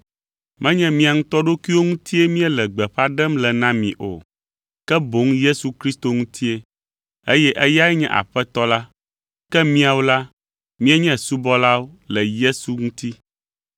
Menye mía ŋutɔ ɖokuiwo ŋutie míele gbeƒã ɖem le na mi o, ke boŋ Yesu Kristo ŋutie, eye eyae nye Aƒetɔ la. Ke míawo la, míenye subɔlawo le Yesu ŋuti.